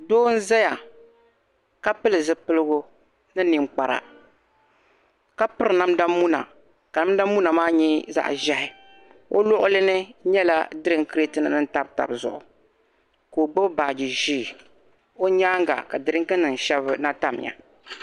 Doo nzaya ka pili zupilgu ni ninkpara, ka piri namdamuna ka namdamuna maa nyɛ zaɣ' ʒehi. O luɣili ni nyɛla drink crate nim ni tam tab zuɣu ko'gbibi baaji ʒee. O nyaanga ka drink nim shɛb' shɛbiya.